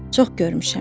Çox görmüşəm.